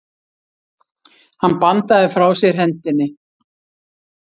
Hann bandaði frá sér hendinni.